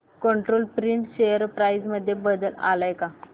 control Print share price मध्ये बदल आलाय का